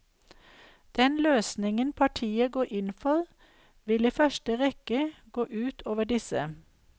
Den løsningen partiet går inn for, vil i første rekke gå ut over disse.